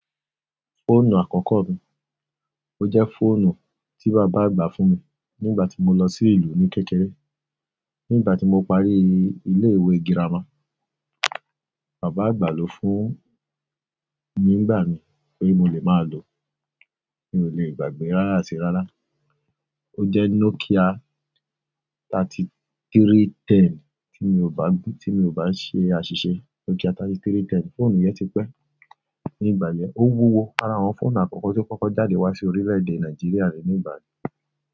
Fóònù àkókó mi, ó jéfóònù tí bàbá àgbà fún mi ní ìgbà tí mo lo sí ìlú ní kékeré ní ìgbà tí mo parí ilé-ìwé girama, bàbá àgbà ló fún mi nígbà yen pé mo lè máa lò, mi ò lè gbàgbé rárá àti rárá. Ó jẹ́ Nokia thirty-three ten tí mi ò bá, tí mi ò bá ṣe àṣìṣe. Nokia thirty-three ten, fóònù yẹn ti pẹ́ ní ìgbà yẹn. Ó wúwo ara àwọn fóònù àkọ́kọ́ tí ó kọ́kọ́ jáde wá sí orílè-èdè Nàìjíríà rèé ní ìgbà yẹn.